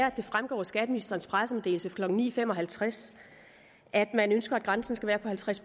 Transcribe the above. at det fremgår af skatteministerens pressemeddelelse klokken ni fem og halvtreds at man ønsker at grænsen skal være på halvtreds